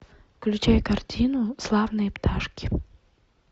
включай картину славные пташки